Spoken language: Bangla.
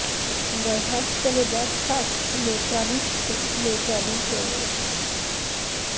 গর্ভাশ্চ মে বত্সাশ্চ মে ত্রবিশ্চ মে ত্রবী চ মে